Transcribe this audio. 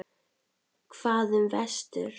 Hvað um vestur?